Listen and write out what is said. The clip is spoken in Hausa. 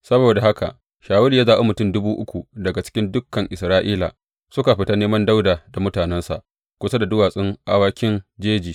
Saboda haka Shawulu ya zaɓi mutum dubu uku daga cikin dukan Isra’ila, suka fita neman Dawuda da mutanensa kusa da Duwatsun Awakin Jeji.